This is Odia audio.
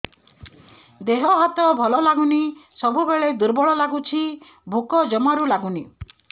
ଦେହ ହାତ ଭଲ ଲାଗୁନି ସବୁବେଳେ ଦୁର୍ବଳ ଲାଗୁଛି ଭୋକ ଜମାରୁ ଲାଗୁନି